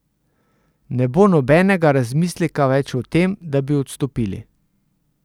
Ne bo nobenega razmisleka več o tem, da bi odstopili?